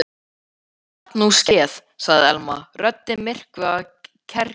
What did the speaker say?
Gat nú skeð sagði Elma, röddin myrkvuð af kergju.